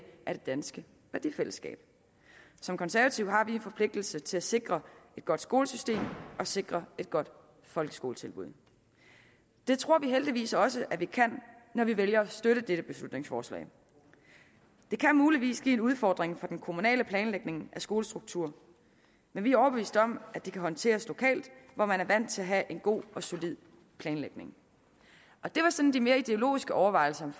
af det danske værdifællesskab som konservative har vi en forpligtelse til at sikre et godt skolesystem og sikre et godt folkeskoletilbud det tror vi heldigvis også at vi kan når vi vælger at støtte det her beslutningsforslag det kan muligvis blive en udfordring for den kommunale planlægning af skolestrukturen men vi er overbeviste om at det kan håndteres lokalt hvor man er vant til at have en god og solid planlægning det var sådan de mere ideologiske overvejelser